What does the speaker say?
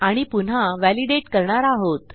आणि पुन्हा व्हॅलिडेट करणार आहोत